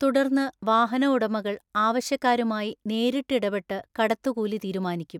തുടര്ന്ന് വാഹനഉടമകള്‍ ആവശ്യക്കാരുമായി നേരിട്ട് ഇടപെട്ട് കടത്തുകൂലി തീരുമാനിക്കും.